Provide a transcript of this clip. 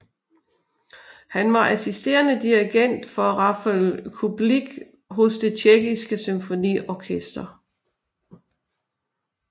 Han var assisterende dirigent for Rafael Kubelik hos det Tjekkiske Symfoniorkester